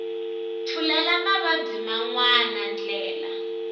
pfulela mavabyi man wana ndlela